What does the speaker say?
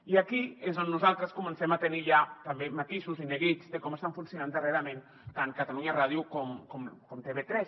i aquí és on nosaltres comencem a tenir ja també matisos i neguits de com estan funcionant darrerament tant catalunya ràdio com tv3